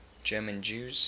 german jews